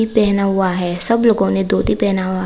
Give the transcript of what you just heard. पहना हुआ है सब लोगों ने धोती पहना हुआ--